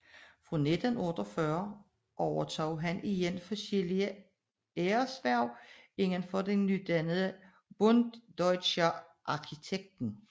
Fra 1948 overtog han igen forskellige æreshverv indenfor det nydannede Bund Deutscher Architekten